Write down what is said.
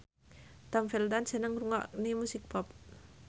Tom Felton seneng ngrungokne musik pop